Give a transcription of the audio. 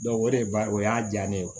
o de ba o y'a diya ne ye